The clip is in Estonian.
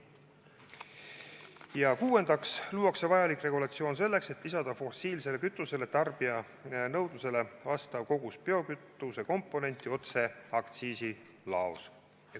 Ja kuuendaks, luuakse vajalik regulatsioon selleks, et lisada fossiilsele kütusele tarbija nõudlusele vastav kogus biokütuse komponenti otse aktsiisilaos.